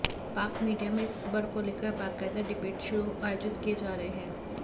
पाक मीडिया में इस खबर को लेकर बकायदा डिबेट शो आयोजित किए जा रहे हैं